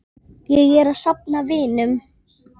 Ég er að safna vinum.